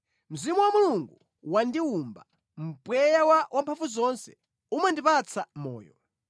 Mzimu wa Mulungu wandiwumba, mpweya wa Wamphamvuzonse umandipatsa moyo.